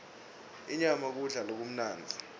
inyama kudla lokumnandzi